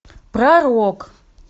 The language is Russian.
пророк